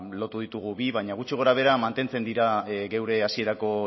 lotu ditugu bi baina gutxi gorabehera mantentzen dira geure hasierako